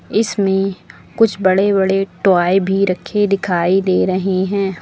इसमें कुछ बड़े बड़े टॉय भी रखे दिखाई दे रहे हैं।